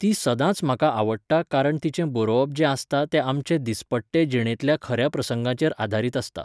ती सदांच म्हाका आवडटा कारण तिचें बरोवप जें आसतां तें आमचे दिसपट्टे जिणेतल्या खऱ्या प्रसंगांचेर आदारीत आसता